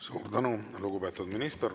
Suur tänu, lugupeetud minister!